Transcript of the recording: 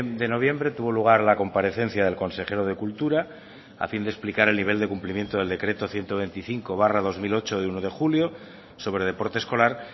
de noviembre tuvo lugar la comparecencia del consejero de cultura a fin de explicar el nivel de cumplimiento del decreto ciento veinticinco barra dos mil ocho de uno de julio sobre deporte escolar